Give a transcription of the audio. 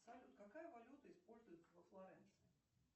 салют какая валюта используется во флоренции